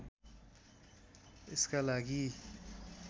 यसका लागि